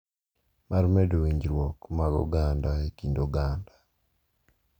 Mar medo winjruok mag oganda e kind oganda.